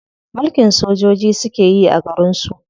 Mulkin sojoji suke yi a garin su.